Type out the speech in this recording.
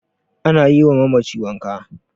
ana yiwa mamaci wanka